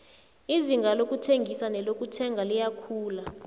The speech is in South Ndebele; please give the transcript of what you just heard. izinga lokuthengisa nelokuthenga liyakhula